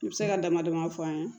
N bɛ se ka damadɔ fɔ an ye